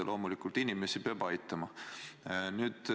Ja loomulikult inimesi peab aitama.